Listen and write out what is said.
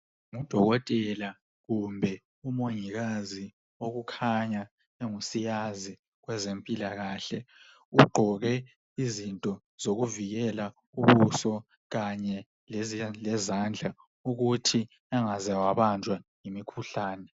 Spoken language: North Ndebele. Ngudokotela kumbe umongikazi okukhanya engusiyazi wezempilakahle. Ugqoke izinto zokuvikela ubuso kanye lezandla ukuthi engaze wabanjwa yimikhuhlane.